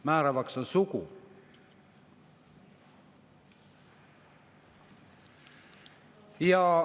Määravaks on sugu.